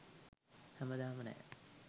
හැමදාම නෑ